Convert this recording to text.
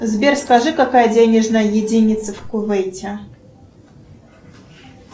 сбер скажи какая денежная единица в кувейте